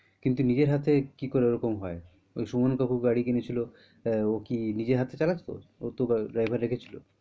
কিন্তু নিজের হাতে কি করে ওই রকম হয়? ওই সুমন কাকু গাড়ি কিনেছিল আহ ও কি নিজের হাতে চালাতো ও তো driver রেখেছিল।